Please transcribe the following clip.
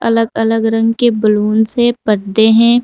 अलग अलग रंग के बलूंस हैं पर्दे हैं।